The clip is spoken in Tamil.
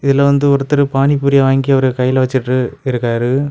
இதுல வந்து ஒருதரு பானி பூரி வாங்கி அவுரு கைல வச்சிட்டு இருக்காரு.